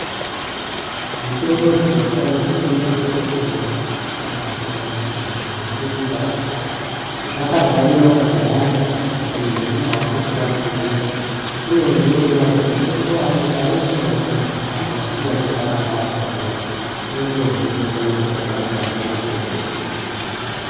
Zvitoro zvinotengese mitombo yakasiyana siyana zvizhinji zvacho zvakazare magirazi kuti muntu einya hambe kubanze zviya unozvionera kuti mutombo wanoda urimwo here kana kuti amuna kunyazi pakavharwa zviya unotozviona ngemagirazi anonese zvinenge zvirimukati.